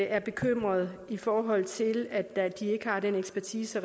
er bekymret i forhold til at de ikke har den ekspertise